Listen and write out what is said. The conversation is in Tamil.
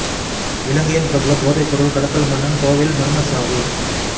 இலங்கையின் பிரபல போதைப் பொருள் கடத்தல் மன்னன் கோவையில் மா்மச் சாவு